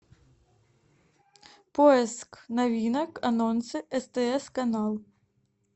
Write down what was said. поиск новинок анонсы стс канал